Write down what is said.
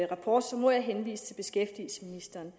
rapport må jeg henvise til beskæftigelsesministeren